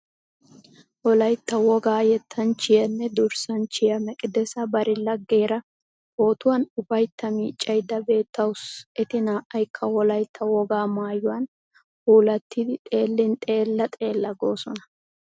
Wolaytta wogaa yettanchchiyanne durssanchchiya Meqidesa bari laggeera pootun ufaytta miiccaydda beettawusu. Eti naa''aykka Wolaytta wogaa maayuwan puulattidi xeellin xeella xeella goosona.